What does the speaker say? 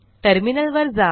टर्मिनलवर जा